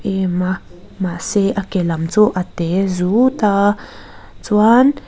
em a mahse a ke lam chu a te zut a chuan--